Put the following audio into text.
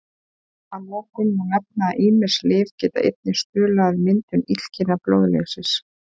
Að lokum má nefna að ýmis lyf geta einnig stuðlað að myndun illkynja blóðleysis.